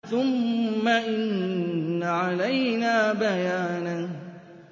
ثُمَّ إِنَّ عَلَيْنَا بَيَانَهُ